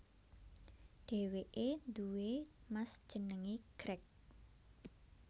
Dheweke duwé Mas jenenge Greg